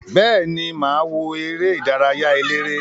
Beeni, maa wo ere idaraya elere.